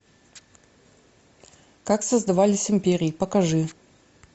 как создавались империи покажи